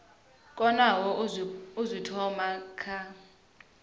konaho u zwi thoma kha